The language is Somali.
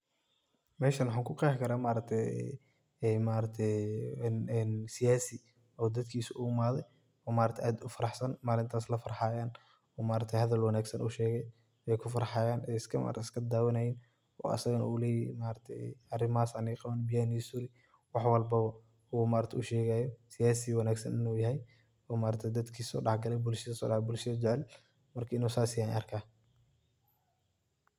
Meeshan waxa ku Qeexi karah maargtay siyasi oo dadkasi u imathay, oo maargtahay aad u faraxsan oo maargtahay Isla farxayaan oo maargtahay hadal wanagsan u sheegay ee kufarxayan ee isku dawathayeen oo asaga yu leeyahay maargtahay arimahasi Aya neeqawani beeyaha waxa walbo oo sheegaya siyasi wanagsan inu yahay oo maargtahay dadkisa dalxgalay bulshathesa oo bulshada jaceel inu sas yahay arkahay.